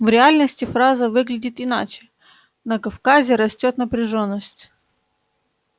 в реальности фраза выглядит иначе на кавказе растёт напряжённость